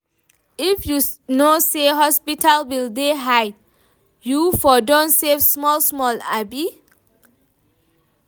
If you know sey hospital bill dey high, you for don save small-small abi?